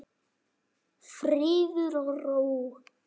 Friður og ró.